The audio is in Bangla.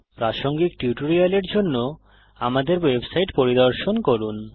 প্রাসঙ্গিক টিউটোরিয়ালের জন্য আমাদের ওয়েবসাইট httpspoken tutorialorg পরিদর্শন করুন